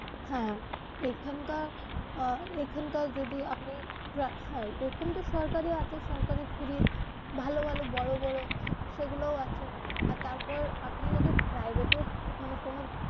হ্যা এখানকার আহ এইখানকার যদি আপনি হ্যাঁ এইরকম তো সরকারি আছে সরকারি free ভালো ভালো বড়ো বড়ো সেগুলাও আছে আর তারপর আপনি যদি private এও মানে কোনো.